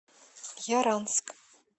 яранск